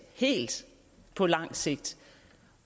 helt på lang sigt